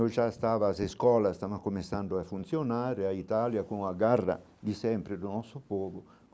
Eu já estava, as escolas, estava começando a funcionar, a Itália com a garra de sempre do nosso povo.